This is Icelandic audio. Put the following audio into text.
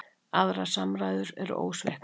Aðrar samræður eru ósviknar.